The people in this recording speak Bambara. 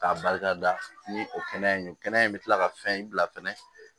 K'a barikada ni o kɛnɛya in don kɛnɛya in bɛ kila ka fɛn in bila fɛnɛ